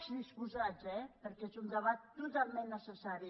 disposats eh perquè és un debat totalment necessari